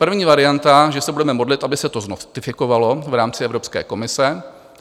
První varianta, že se budeme modlit, aby se to znotifikovalo v rámci Evropské komise.